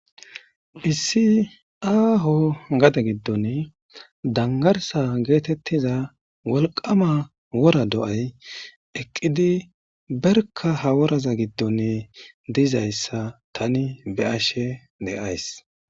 Issi aaho gade giddon dangarsa geetettiza woliqama wora do'ay eqqidi berka haworaza giddone diizayssa tani be ashe deays